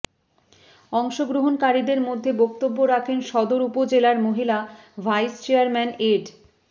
অংশগ্রহণকারীদের মধ্যে বক্তব্য রাখেন সদর উপজেলার মহিলা ভাইস চেয়ারম্যান এড